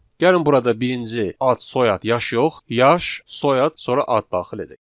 Gəlin burada birinci ad, soyad, yaş yox, yaş, soyad, sonra ad daxil edək.